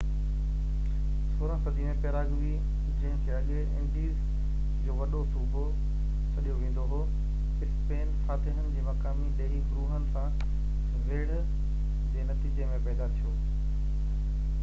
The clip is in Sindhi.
16 صدي ۾ پيراگوي جنهن کي اڳي انڊيز جو وڏو صوبو سڏيو ويندو هو اسپين فاتحن جي مقامي ڏيهي گروهن سان ويڙهه جي نتيجي ۾ پيدا ٿيو